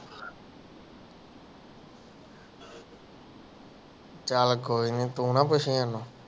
ਚੱਲ ਕੋਈ ਨਹੀਂ ਤੂੰ ਨ ਪੁਛਿ ਓਹਨੂੰ